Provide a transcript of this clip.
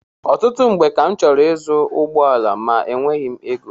Ọtụtụ mgbe ka m chọrọ ịzụ ụgbọala ma enweghị m égo